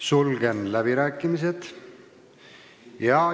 Sulgen läbirääkimised.